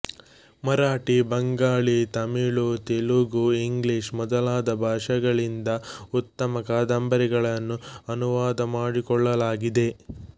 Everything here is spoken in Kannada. ಮರಾಠಿ ಬಂಗಾಳೀ ತಮಿಳು ತೆಲುಗು ಇಂಗ್ಲಿಷ್ ಮೊದಲಾದ ಭಾಷೆಗಳಿಂದ ಉತ್ತಮ ಕಾದಂಬರಿಗಳನ್ನು ಅನುವಾದ ಮಾಡಿಕೊಳ್ಳಲಾಗಿದೆ